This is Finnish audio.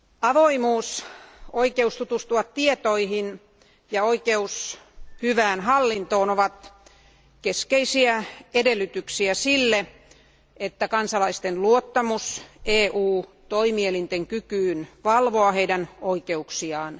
Avoimuus, oikeus tutustua tietoihin ja oikeus hyvään hallintoon ovat keskeisiä edellytyksiä kansalaisten luottamukselle EU toimielinten kykyyn valvoa heidän oikeuksiaan.